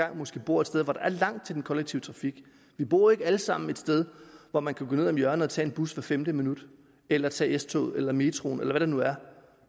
måske bor et sted hvor der er langt til den kollektive trafik vi bor ikke alle sammen et sted hvor man kan gå ned om hjørnet og tage en bus hvert femte minut eller tage s toget eller metroen eller hvad det nu er